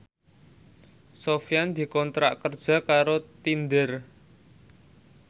Sofyan dikontrak kerja karo Tinder